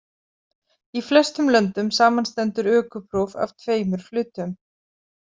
Í flestum löndum samanstendur ökupróf af tveimur hlutum.